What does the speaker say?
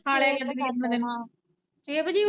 ਛੇ ਵਜੇ।